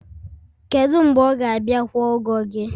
kedu mgbe ọ ga-abịa kwụọ ụgwọ gị?